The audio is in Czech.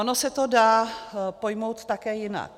Ono se to dá pojmout také jinak.